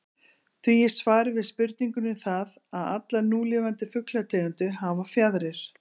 Því er svarið við spurningunni það, að allar núlifandi fuglategundir hafa fjaðrir.